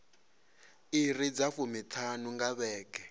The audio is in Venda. iri dza fumiṱhanu nga vhege